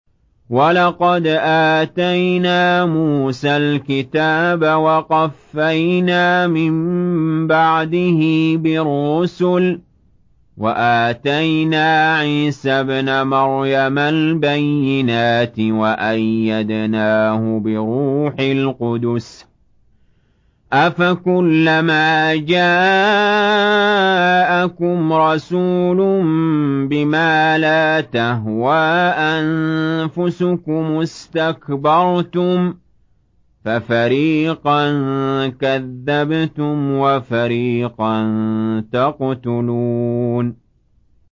وَلَقَدْ آتَيْنَا مُوسَى الْكِتَابَ وَقَفَّيْنَا مِن بَعْدِهِ بِالرُّسُلِ ۖ وَآتَيْنَا عِيسَى ابْنَ مَرْيَمَ الْبَيِّنَاتِ وَأَيَّدْنَاهُ بِرُوحِ الْقُدُسِ ۗ أَفَكُلَّمَا جَاءَكُمْ رَسُولٌ بِمَا لَا تَهْوَىٰ أَنفُسُكُمُ اسْتَكْبَرْتُمْ فَفَرِيقًا كَذَّبْتُمْ وَفَرِيقًا تَقْتُلُونَ